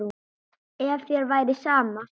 Ef þér væri sama.